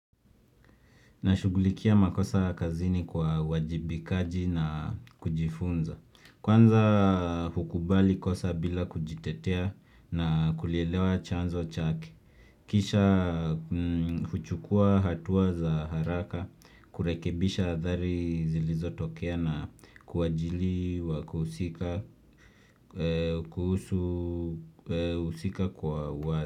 Nashugulikia makosa kazini kwa uwajibikaji na kujifunza. Kwanza, hukubali kosa bila kujitetea na kulielewa chanzo chake. Kisha huchukua hatuwa za haraka, kurekebisha adhari zilizo tokea na kuwajili wa kuhusika kuhusu uhusika kwa wazi.